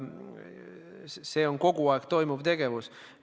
See on kogu aeg toimuv tegevus.